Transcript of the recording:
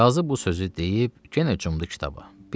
Qazı bu sözü deyib, yenə cumdu kitaba.